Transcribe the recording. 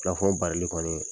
barili kɔni.